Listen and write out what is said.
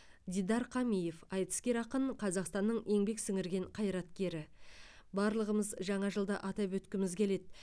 дидар қамиев айтыскер ақын қазақстанның еңбек сіңірген қайраткері барлығымыз жаңа жылды атап өткіміз келеді